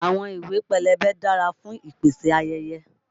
Àwọn ìwé pélébé dára fún ìpèsáyẹyẹ.